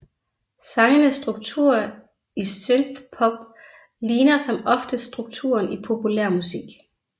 Sangenes struktur i synthpop ligner som oftest strukturen i populærmusik